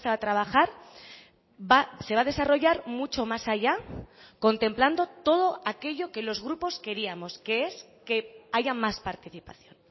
a trabajar se va a desarrollar mucho más allá contemplando todo aquello que los grupos queríamos que es que haya más participación